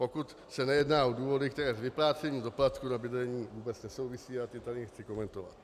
Pokud se nejedná o důvody, které s vyplácením doplatku na bydlení vůbec nesouvisí, a ty tady nechci komentovat.